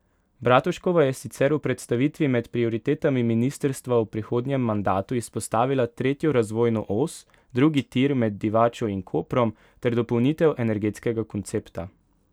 Bratuškova je sicer v predstavitvi med prioritetami ministrstva v prihodnjem mandatu izpostavila tretjo razvojno os, drugi tir med Divačo in Koprom ter dopolnitev energetskega koncepta.